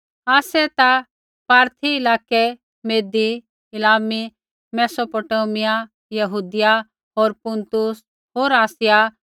आसै ता पारथी इलाकै मेदी एलामी मैसोपोटामिया यहूदिया होर पुन्तुस होर आसिया